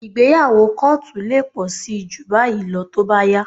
Ìgbéyàwó kóòtù lè pọ̀ síi jù báyìí lọ tó bá yá